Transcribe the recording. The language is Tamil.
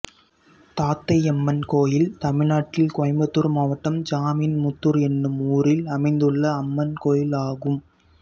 தாத்தையம்மன் கோயில் தமிழ்நாட்டில் கோயம்புத்தூர் மாவட்டம் ஜமீன்முத்தூர் என்னும் ஊரில் அமைந்துள்ள அம்மன் கோயிலாகும்